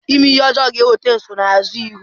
Ime ihe ọjọọ ga-eweta nsonaazụ iwu.